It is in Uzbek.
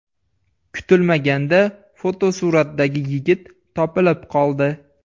Kutilmaganda fotosuratdagi yigit topilib qoldi.